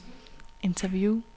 interview